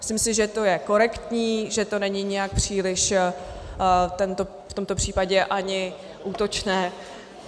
Myslím si, že to je korektní, že to není nijak příliš v tomto případě ani útočné.